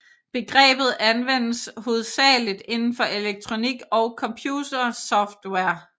Begrebet anvendes hovedsagelig indenfor elektronik og computersoftware